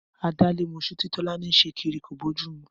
Adálémos̩ú tí Tó̩lání ń s̩e kiri kò bójú mu